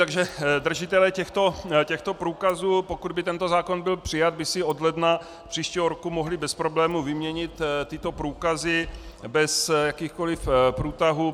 Takže držitelé těchto průkazů, pokud by tento zákon byl přijat, by si od ledna příštího roku mohli bez problémů vyměnit tyto průkazy bez jakýchkoliv průtahů.